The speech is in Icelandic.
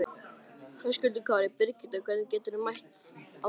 Höskuldur Kári: Birgitta, hvernig metur þú stöðuna?